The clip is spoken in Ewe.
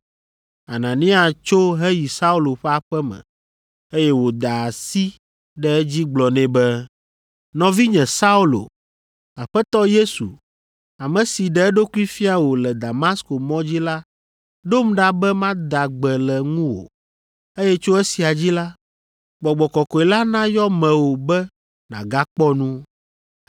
Anania tso heyi Saulo ƒe aƒe me, eye wòda asi ɖe edzi gblɔ nɛ be, “Nɔvinye Saulo, Aƒetɔ Yesu, ame si ɖe eɖokui fia wò le Damasko mɔ dzi la ɖom ɖa be mada gbe le ŋuwò, eye tso esia dzi la, Gbɔgbɔ Kɔkɔe la nayɔ mewò be nàgakpɔ nu.”